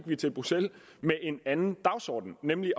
vi til bruxelles med en anden dagsorden nemlig